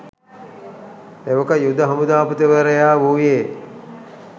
එවක යුද හමුදාපතිවරයා වුයේ